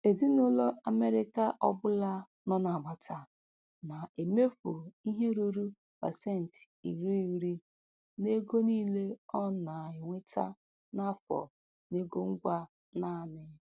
Ezinụlọ Amerịka ọbụla nọ n'agbata na-emefu ihe ruru pasenti iri iri n'ego niile ọ na-enweta n'afọ n'ego ngwa naanị.